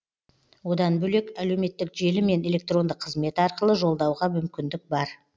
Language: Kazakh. одан бөлек әлеуметтік желі мен электронды қызмет арқылы жолдауға мүмкіндік бар